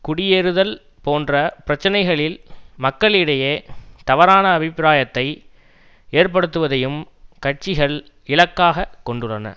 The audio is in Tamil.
குடியேறுதல் போன்ற பிரச்சினைகளில் மக்களிடையே தவறான அபிப்பிராயத்தை ஏற்படுத்துவதையும் கட்சிகள் இலக்காக கொண்டுள்ளன